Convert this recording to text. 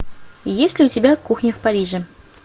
есть ли у тебя кухня в париже